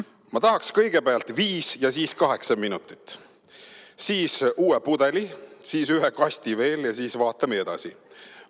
"Ma tahaksin kõigepealt viis ja siis kaheksa minutit, siis uue pudeli, siis ühe kasti veel ja siis vaatame edasi.